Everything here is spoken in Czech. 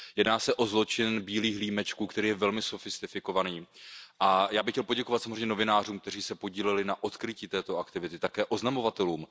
Jedná se o zločin bílých límečků, který je velmi sofistikovaný, a já bych chtěl poděkovat samozřejmě novinářům, kteří se podíleli na odkrytí této aktivity, a také oznamovatelům.